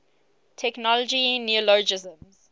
technology neologisms